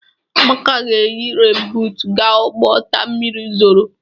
Amaka ga-eyi renbuutu gaa ugbo taa mmiri zoro.